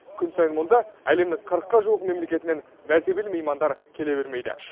күн сайын мұнда әлемнің қырыққа жуық мемлекетінен мәртебелі меймандар келе бермейді